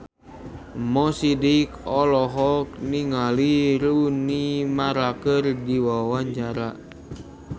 Mo Sidik olohok ningali Rooney Mara keur diwawancara